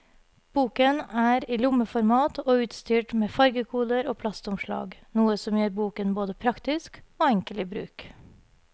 Boken er i lommeformat og utstyrt med fargekoder og plastomslag, noe som gjør boken både praktisk og enkel i bruk.